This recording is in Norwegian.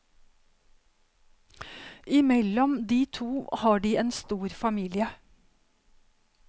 I mellom de to har de en stor familie.